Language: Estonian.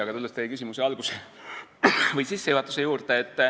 Aga tulen teie küsimuse alguse või sissejuhatuse juurde.